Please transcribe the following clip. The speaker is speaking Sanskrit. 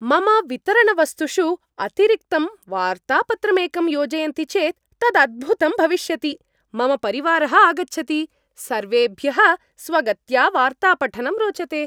मम वितरणवस्तुषु अतिरिक्तं वार्तापत्रमेकं योजयन्ति चेत् तदद्भुतं भविष्यति! मम परिवारः आगच्छति, सर्वेभ्यः स्वगत्या वार्तापठनं रोचते।